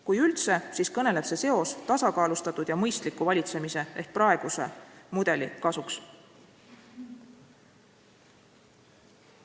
Kui üldse, siis kõneleb see seos tasakaalustatud ja mõistliku valitsemise ehk praeguse mudeli kasuks.